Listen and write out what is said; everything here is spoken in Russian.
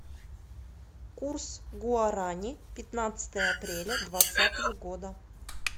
курс гуарани пятнадцатое апреля двадцатого года